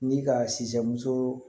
Ni ka simuso